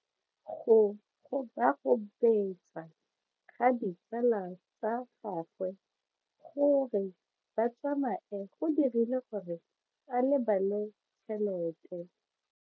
Go gobagobetsa ga ditsala tsa gagwe, gore ba tsamaye go dirile gore a lebale tšhelete.